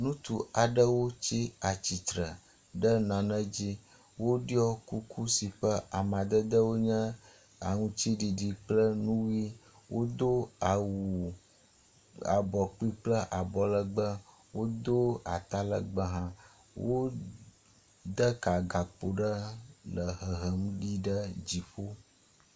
Ŋutsu aɖewo tsi stsitre ɖe nane dzi. Woɖɔ kuku si ƒe amadedewo nye aŋtsiɖiɖi kple nu ʋi. Wodo awu abɔ kpi kple abɔlegbe. Wodo atalegbe hã. Wode ka gakpo ɖe le hehem yi ɖe dziƒo.